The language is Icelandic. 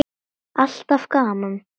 Alltaf gaman.